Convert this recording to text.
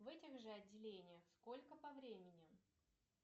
в этих же отделениях сколько по времени